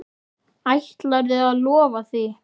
Ætlarðu að lofa því?